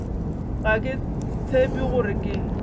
ga ke tshepe gore ke